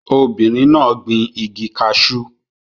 Obìnrin náà gbin igi cashew